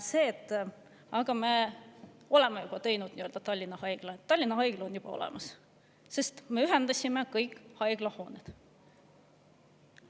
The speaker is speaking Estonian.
See, et me oleme juba teinud nii-öelda Tallinna haigla, Tallinna haigla on juba olemas, sest me ühendasime kõik haiglad.